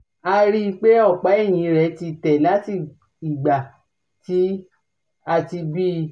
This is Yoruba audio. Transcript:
a rí i pé ọ̀pá ẹ̀yìn rẹ̀ ti tẹ̀ láti ìgbà tí a ti bí i